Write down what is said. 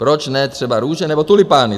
Proč ne třeba růže nebo tulipány?